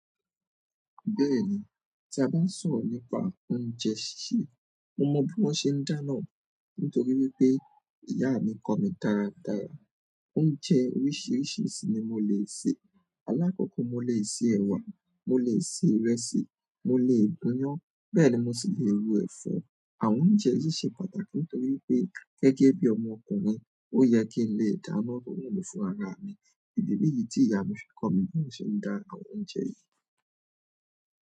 Bẹ́ẹ̀ni, tí a bá ń sọ̀rọ̀ nípa oúnjẹ sísè, mo mọ bí wọ́n ṣe ń dáná nítorí wípé ìyá mi kọ mí dáradára. Oúnjẹ oríṣiríṣi ni mo lè sè. Alákòókò mo lè sè ẹwà, mo lè sè ìrẹsì, mo lè gúnyán, bẹ́ẹ̀ ni mo sì lè ro ẹ̀fọ́. Àwọn oúnjẹ yìí ṣe pàtàkì nítorí wípé gẹ́gẹ́ bí ọmọ ọkùnrin, ó yẹ kí n lè dáná rọ́rùn mi fún ara mi. Ìdílé yìí tí ìyá mi fi kọ́ mi bí mo ṣe ń dá àwọn oúnjẹ yìí.